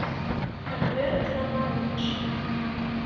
альберт романович